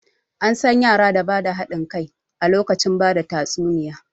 An san yara da ba da haɗin kai a lokacin bada tatsuniya